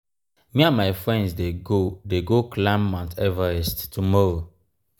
me and my friends dey go dey go climb mount everest tomorrow.